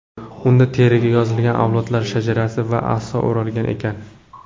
Unda teriga yozilgan avlodlar shajarasi va aso o‘ralgan ekan.